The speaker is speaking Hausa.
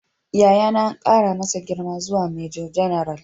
Yayana an kara masa girma zuwa Major General